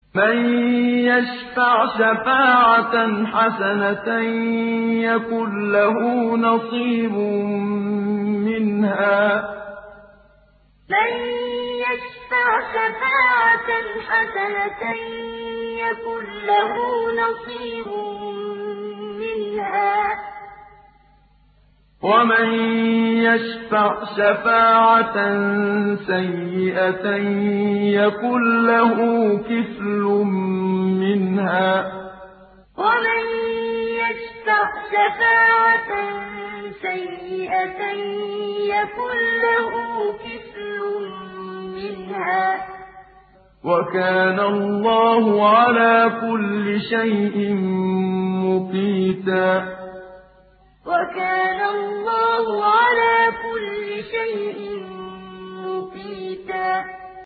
مَّن يَشْفَعْ شَفَاعَةً حَسَنَةً يَكُن لَّهُ نَصِيبٌ مِّنْهَا ۖ وَمَن يَشْفَعْ شَفَاعَةً سَيِّئَةً يَكُن لَّهُ كِفْلٌ مِّنْهَا ۗ وَكَانَ اللَّهُ عَلَىٰ كُلِّ شَيْءٍ مُّقِيتًا مَّن يَشْفَعْ شَفَاعَةً حَسَنَةً يَكُن لَّهُ نَصِيبٌ مِّنْهَا ۖ وَمَن يَشْفَعْ شَفَاعَةً سَيِّئَةً يَكُن لَّهُ كِفْلٌ مِّنْهَا ۗ وَكَانَ اللَّهُ عَلَىٰ كُلِّ شَيْءٍ مُّقِيتًا